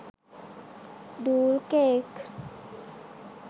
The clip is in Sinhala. doll cake